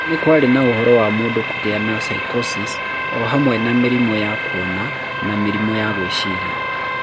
Ningĩ nĩ kwarĩ na ũhoro wa mũndũ kũgĩa na Psychosis, o hamwe na mĩrimũ ya kuona na mĩrimũ ya gwĩciria.